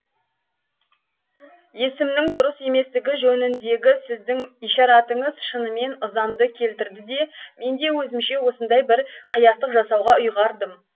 есімнің дұрыс еместігі жөніндегі сіздің ишаратыңыз шынымен ызамды келтірді де мен де өзімше осындай бір қиястық жасауға ұйғардым